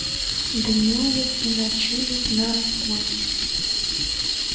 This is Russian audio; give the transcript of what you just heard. днюет и ночует на работе